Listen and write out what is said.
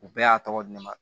U bɛɛ y'a tɔgɔ di ne ma